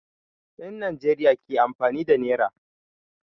Yan Nijeriya ke amfani da nera